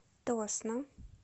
тосно